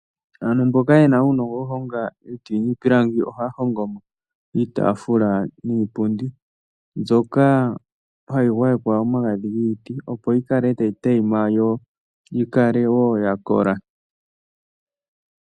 Aantu mboka ye na uunongo wo ku honga iiti niipinagi ohaya hongo iitaafula niipundi, mbyoka hayi gwayekwa omagadhi giiti opo yi kale ta yi tayima yo yi kale wo ya kola.